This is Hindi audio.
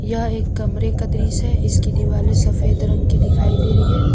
क्या एक कमरे का दृश है इसकी दिवाली सफेद रंग की दिखाई दे रही है।